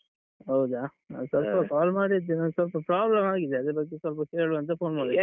ಹೌದಾ ಸ್ವಲ್ಪ call ಮಾಡಿದ್ದು ಸ್ವಲ್ಪ problem ಆಗಿದೆ ಅದ್ರ ಬಗ್ಗೆ ಸ್ವಲ್ಪ ಕೇಳ್ವ ಅಂತ phone ಮಾಡಿದ್ದು.